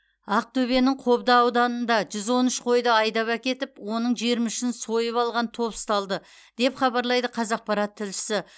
ақтөбенің қобда ауданында жүз он үш қойды айдап әкетіп оның жиырма үшін сойып алған топ ұсталды деп хабарлайды қазақпарат тілшісі